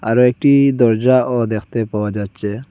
আরও একটি দরজাও দেখতে পাওয়া যাচ্ছে।